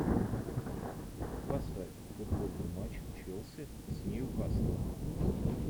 поставь футбольный матч челси с ньюкаслом